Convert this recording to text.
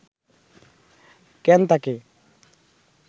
কেন তাকে